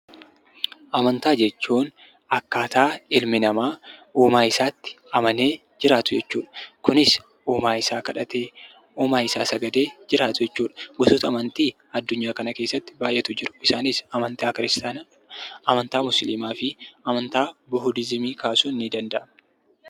Amantaa jechuun akkaataa ilmi namaa uumaa isaatti amanee jiraatu jechuu dha. Kunis uumaa isaa kadhatee, uumaa isaa sagadee, jiraatu jechuu dha. Gosoota amantii addunyaa kana keessatti baay'eetu jiru. Isaanis amantaa kiristaanaa, amantaa Muslimaa fi amantaa Buhudizimii kaasuun ni danda'ama.